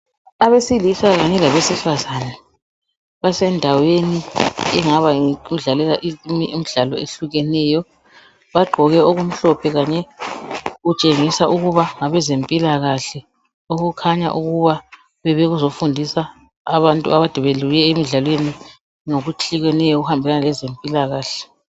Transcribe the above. Abesilisa kanye labesifazana basendaweni engabe ngeyokudlalela imidlalo ehlukeneyo bagqoke okumhlophe kanye kutshengisa ukuba ngabezempilakahle okukhanya ukuba bebezofundisa abantu kade bebuye emdlalweni ngokutshiyeneyo okuhambelana lezempilakahle.